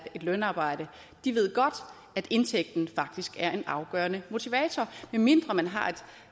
et lønarbejde ved godt at indtægten faktisk er en afgørende motivator medmindre man har